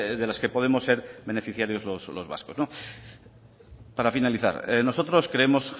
de las que podemos ser beneficiarios los vascos para finalizar nosotros creemos